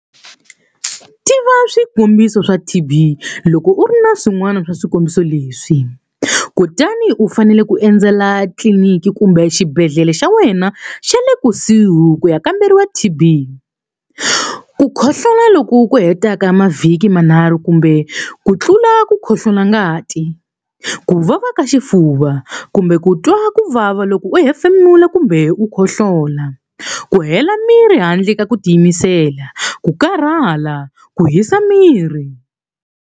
Tiva swikombiso swa TB Loko u ri na swin'wana swa swikombiso leswi, kutani u fanele ku endzela tliliniki kumbe xibedhlele xa wena xa le kusuhi ku ya kamberiwa TB- Ku khohlola loku hetaka mavhiki manharhu kumbe ku tlula ku khohlola ngati, ku vava ka xifuva, kumbe ku twa ku vava loko u hefemula kumbe ku khohlola, ku hela miri handle ka ku tiyimisela, ku karhala, ku hisa miri.